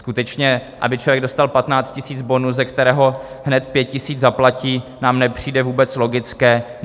Skutečně, aby člověk dostal 15 000 bonus, ze kterého hned 5 000 zaplatí, nám nepřijde vůbec logické.